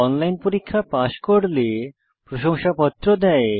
online পরীক্ষা pass করলে প্রশংসাপত্র দেয়